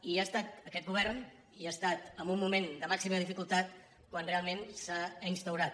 i ha estat aquest govern i ha estat en un moment de màxima dificultat quan realment s’ha instaurat